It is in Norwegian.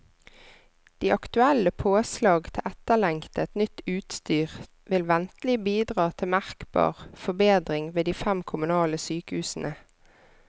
De aktuelle påslag til etterlengtet, nytt utstyr vil ventelig bidra til merkbar forbedring ved de fem kommunale sykehusene.